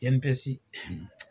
INPS